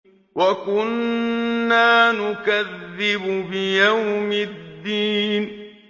وَكُنَّا نُكَذِّبُ بِيَوْمِ الدِّينِ